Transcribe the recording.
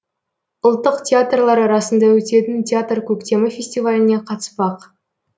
ұлттық театрлар арасында өтетін театр көктемі фестиваліне қатыспақ